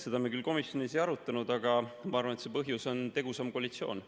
Seda me küll komisjonis ei arutanud, aga ma arvan, et põhjus on tegusam koalitsioon.